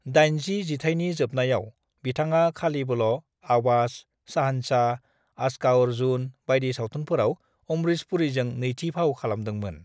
"80 जिथायनि जोबनायाव, बिथाङा खालिबोल' 'आवाज', 'शहंशाह', 'आज का अर्जुन' बायदि सावथुनफोराव अमरीश पुरीजों नैथि फाव खालामदोंमोन।"